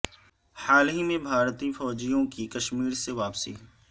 حال ہی میں بھارتی فوجیوں کی کشمری سے واپسی